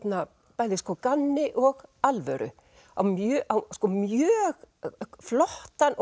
bæði gamni og alvöru á mjög á mjög flottan og